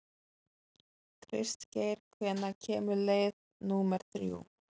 Kristgeir, hvenær kemur leið númer þrjú?